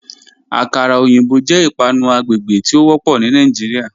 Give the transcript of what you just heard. Akàrà ọyinbọ̀ jẹ́ ìpànù àgbègbè tí o wọ́pọ̀ ní Nàìjíríà.